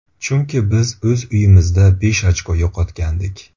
Chunki biz o‘z uyimizda besh ochko yo‘qotgandik.